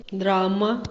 драма